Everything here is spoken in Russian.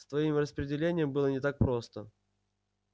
с твоим распределением было не так просто